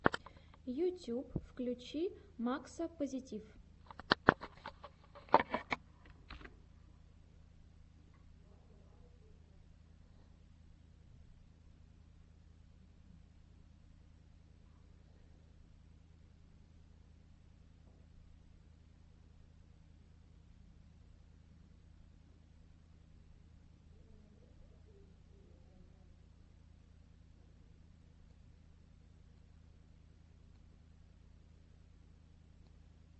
ютюб включи макса позитив